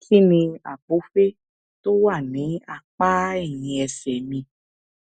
kí ni àpòfé tó wà ní apá ẹyìn ẹsè mi